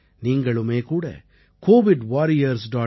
நீங்களுமே கூட covidwarriors